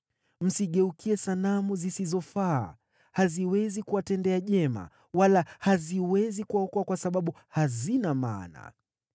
Msigeukie sanamu zisizofaa. Haziwezi kuwatendea jema, wala haziwezi kuwaokoa kwa sababu hazina maana.